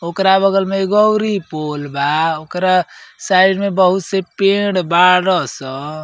ओकरा बगल में एगो औरी पुल बा। ओकरा साइड में बहुत से पेड़ बाड़ स।